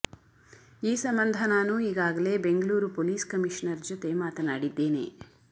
ಈ ಸಂಬಂಧ ನಾನು ಈಗಾಗಲೇ ಬೆಂಗಳೂರು ಪೊಲೀಸ್ ಕಮಿಷನರ್ ಜೊತೆ ಮಾತನಾಡಿದ್ದೇನೆ